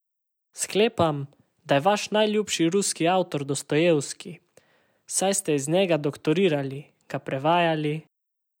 Sklepam, da je vaš najljubši ruski avtor Dostojevski, saj ste iz njega doktorirali, ga prevajali ...